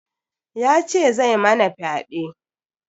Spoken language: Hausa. Ya ce zai mana fyaɗe.